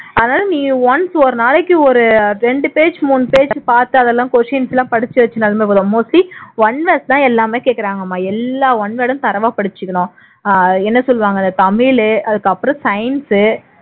அதனால நீ once ஒரு நாளைக்கு ஒரு இரண்டு page மூணு page பாத்து அதெல்லாம் questions எல்லாம் படிச்சு mostly one words தான் எல்லாமே கேக்குறாங்கம்மா எல்லா one word ம் தரோவா படிச்சுக்கனும் அஹ் என்ன சொல்லுவாங்க தமிழ் அதுக்கப்புறம் science